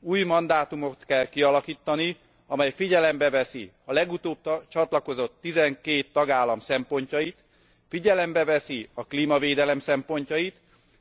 Új mandátumot kell kialakítani, amely figyelembe veszi a legutóbb csatlakozott 12 tagállam szempontjait, figyelembe veszi a klímavédelem szempontjait,